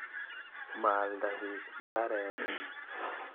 Maalda piik mbarenik.